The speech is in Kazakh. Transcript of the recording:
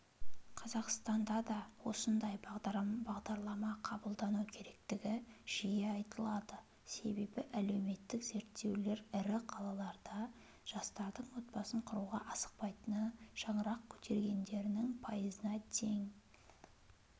қазақстанда да осындай бағдарлама қабылдану керектігі жиі айтылады себебі әлеуметтік зерттеулер ірі қалаларда жастардың отбасын құруға асықпайтыны шаңырақ көтергендерінің пайызына дейін